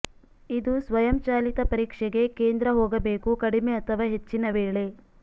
ಇದು ಸ್ವಯಂಚಾಲಿತ ಪರೀಕ್ಷೆಗೆ ಕೇಂದ್ರ ಹೋಗಬೇಕು ಕಡಿಮೆ ಅಥವಾ ಹೆಚ್ಚಿನ ವೇಳೆ